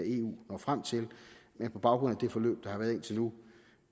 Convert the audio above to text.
eu når frem til men på baggrund af det forløb der har været indtil nu